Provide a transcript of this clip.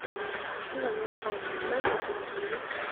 Kikong'et panget, maimuchi kotilis.